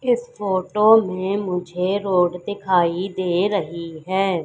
इस फोटो में मुझे रोड दिखाई दे रही है।